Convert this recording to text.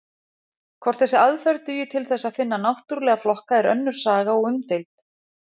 Hvort þessi aðferð dugi til þess að finna náttúrlega flokka er önnur saga og umdeild.